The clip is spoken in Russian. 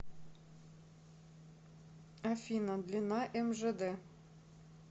афина длина мжд